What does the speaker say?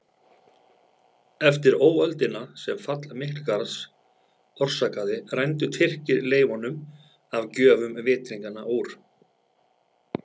Eftir óöldina sem fall Miklagarðs orsakaði rændu Tyrkir leifunum af gjöfum vitringanna úr